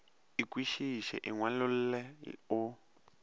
e kwešišege e ngwalolle o